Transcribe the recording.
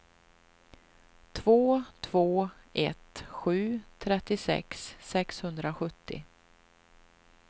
två två ett sju trettiosex sexhundrasjuttio